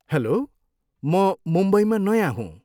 Hello, म मुम्बईमा नयाँ हुँ।